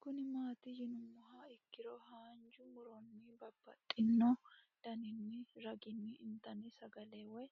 Kuni mati yinumoha ikiro hanja muroni babaxino daninina ragini intani sagale woyi